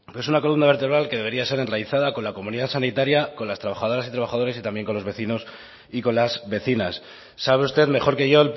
pero es una columna vertebral que debería ser enraizada con la comunidad sanitaria con las trabajadoras y trabajadores y también con los vecinos y con las vecinas sabe usted mejor que yo